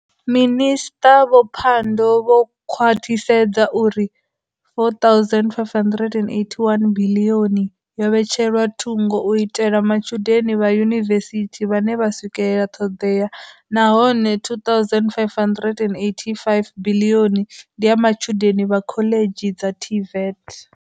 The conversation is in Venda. Minisṱa vho Pandor vho khwaṱhisedza uri R4.581 biḽioni yo vhetshelwa thungo u itela matshudeni vha yunivesithi vhane vha swikelela ṱhoḓea nahone R2.585 biḽioni ndi ya matshudeni vha khoḽidzhi dza TVET.